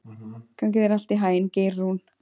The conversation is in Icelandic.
Gangi þér allt í haginn, Geirrún.